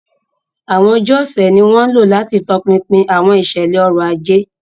Àwọn ọjọ́ ọ̀sẹ̀ ni wọ́n ń lò láti tọpinpin àwọn ìṣẹ̀lẹ̀ ọrọ̀ ajé.